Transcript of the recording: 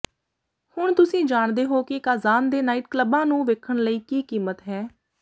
ਹੁਣ ਤੁਸੀਂ ਜਾਣਦੇ ਹੋ ਕਿ ਕਾਜ਼ਾਨ ਦੇ ਨਾਈਟ ਕਲੱਬਾਂ ਨੂੰ ਵੇਖਣ ਲਈ ਕੀ ਕੀਮਤ ਹੈ